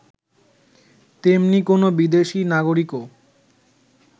তেমনি কোন বিদেশী নাগরিকও